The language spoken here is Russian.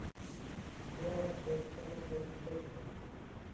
игра вест хэма против тоттенхэма